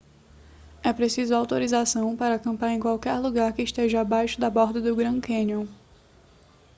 é preciso autorização para acampar em qualquer lugar que esteja abaixo da borda do grand canyon